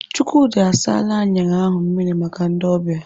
Chukwudi asaala aṅara ahụ mmiri maka ndị ọbịa.